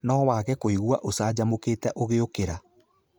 No wage kũigua ũcanjamũkĩte ũgĩũkĩra.